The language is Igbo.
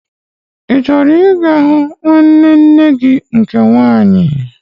I chọrọ ịga hụ nwanne nne gị nke nwaanyị?